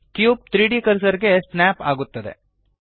cube 3ದ್ cursor ಗೆ snap ಆಗುತ್ತದೆ